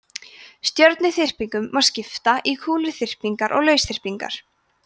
stjörnuþyrpingum má skipta í kúluþyrpingar og lausþyrpingar